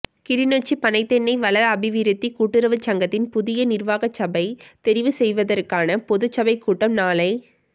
கிளிநொச்சி பனை தென்னை வள அபிவிருத்திக் கூட்டுறவுச் சங்கத்தின் புதிய நிர்வாக சபை தெரிவுசெய்வதற்கான பொதுச்சபைக் கூட்டம் நாளை